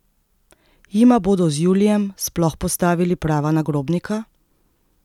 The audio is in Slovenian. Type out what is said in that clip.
Jima bodo z Julijem sploh postavili prava nagrobnika?